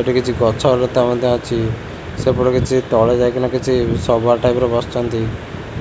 ଏଠି କିଛି ଗଛ ଓ ଲତା ମଧ୍ୟ ଅଛି ସେପଟେ କିଛି ତଳେ ଯାଇକିନା କିଛି ସଭା ଟାଇପ ର ବସିଛନ୍ତି